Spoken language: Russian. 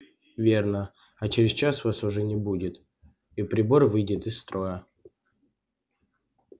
верно а через час вас уже не будет и прибор выйдет из строя